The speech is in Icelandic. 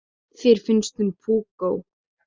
Þér finnst hún púkó.